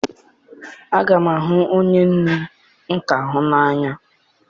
Aga m ahụ onye nne m ka hụ n'anya